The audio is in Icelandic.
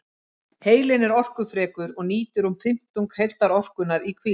Heilinn er orkufrekur og nýtir um fimmtung heildarorkunnar í hvíld.